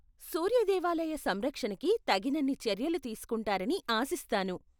సూర్య దేవాలయ సంరక్షణకి తగినన్ని చర్యలు తీస్కుంటారని ఆశిస్తాను.